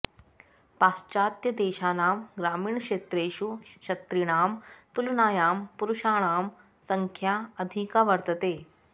पाश्चात्यदेशानां ग्रामीणक्षेत्रेषु स्त्रीणां तुलनायां पुरुषाणां संङ्ख्या अधिका वर्तते